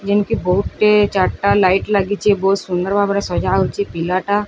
ଯେମିତି ବହୁତେ ଚାରିଟା ଲାଇଟ୍ ଲାଗିଛି ବହୁତ୍ ସୁନ୍ଦର ଭାବରେ ସଜା ହୋଇଛି ପିଲାଟା --